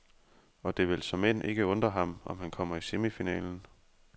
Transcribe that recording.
Og det vil såmænd ikke undre ham, om han kommer i semifinalen.